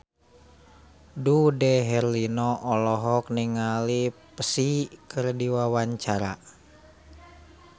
Dude Herlino olohok ningali Psy keur diwawancara